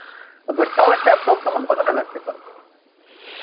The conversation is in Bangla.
But তাও একটা approx amount কতটা লাগতে পারে?